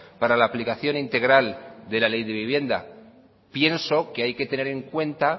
para la aplicación integral de la ley de vivienda pienso que hay que tener en cuenta